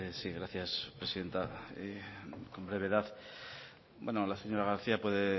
sí gracias presidenta brevedad bueno la señora garcía puede